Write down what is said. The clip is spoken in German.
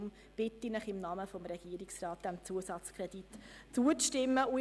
Deshalb bitte ich Sie im Namen des Regierungsrats, diesem Zusatzkredit zuzustimmen.